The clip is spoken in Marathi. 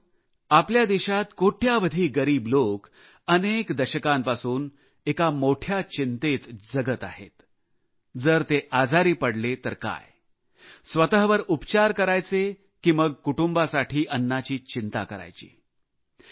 मित्रांनो आपल्या देशात कोट्यावधी गरीब लोक अनेक दशकांपासून एका मोठ्या चिंतेत जगत आहेत जर ते आजारी पडले तर काय स्वतःवर उपचार करायचे की मग कुटुंबासाठी अन्नाची चिंता करायची